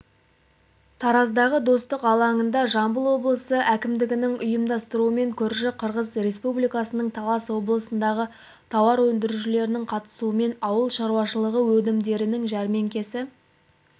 тараздағы достық алаңында жамбыл облысы әкімдігінің ұйымдастыруыменкөрші қырғызреспубликасының талас облысындағы тауар өндірушілерінің қатысуымен ауыл шаруашылығыөнімдерінің жәрмеңкесі